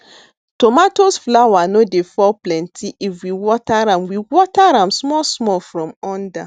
tomatoes flower no dey fall plenty if we water am we water am small small from under